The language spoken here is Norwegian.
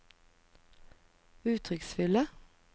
uttrykksfulle